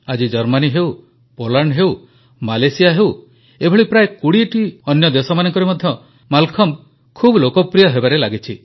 ଆଜି ଜର୍ମାନୀ ହେଉ ପୋଲାଣ୍ଡ ହେଉ ମାଲେସିଆ ହେଉ ଏଭଳି ପ୍ରାୟ 20ଟି ଅନ୍ୟ ଦେଶମାନଙ୍କରେ ମଧ୍ୟ ମାଲଖମ୍ବ ଖୁବ ଲୋକପ୍ରିୟ ହେବାରେ ଲାଗିଛି